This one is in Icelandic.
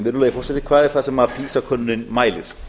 virðulegi forseti hvað er það sem pisa könnunin mælir